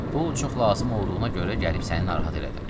Pul çox lazım olduğuna görə gəlib səni narahat elədim.